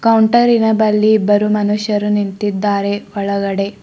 ಹೊಂಟರಿನ ಬಲ್ಲಿ ಇಬ್ಬರು ಮನುಷ್ಯರು ನಿಂತಿದ್ದಾರೆ ಒಳಗಡೆ.